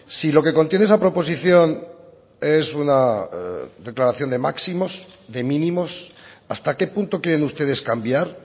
si lo que contiene esa proposición es una declaración de máximos de mínimos hasta qué punto quieren ustedes cambiar